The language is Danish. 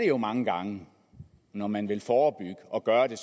jo mange gange når man vil forebygge og gøre det